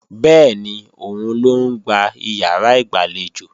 Bẹ́ẹ̀ni, òun ló ń gbá ìyàrá ìgbàlejò